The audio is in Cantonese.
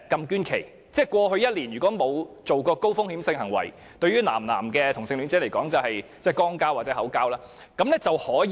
換言之，如過去1年沒有進行高風險性行為，對男同性戀者而言亦即肛交或口交，那便可以捐血。